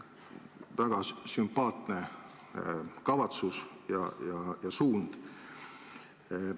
Väga sümpaatne kavatsus ja suund.